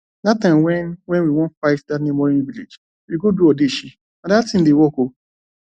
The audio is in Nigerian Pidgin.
dat time when when we wan fight dat neigbouring village we go do odeshi nah dat thing dey work oo